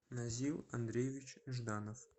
назил андреевич жданов